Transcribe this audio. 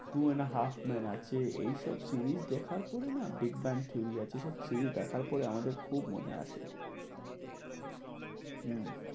Two and a half men আছে এইসব series দেখার পরে না? বেক ব্যান থিওরি আছে সেইসব series দেখার পরে আমাদের খুব মনে আসে। হম